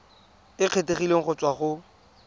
e kgethegileng go tswa go